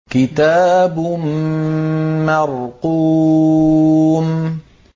كِتَابٌ مَّرْقُومٌ